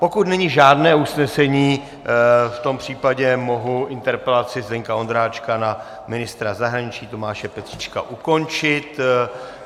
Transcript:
Pokud není žádné usnesení, v tom případě mohu interpelaci Zdeňka Ondráčka na ministra zahraničí Tomáše Petříčka ukončit.